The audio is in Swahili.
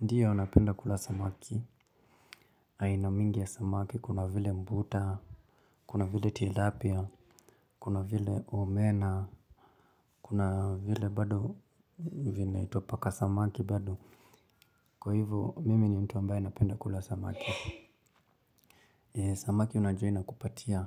Ndiyo napenda kula samaki. Aina mingi ya samaki kuna vile mbuta, kuna vile tilapia, kuna vile omena, kuna vile bado vinaitwa paka samaki bado. Kwa hivyo mimi ni mtu ambaye napenda kula samaki. Samaki unajua inakupatia.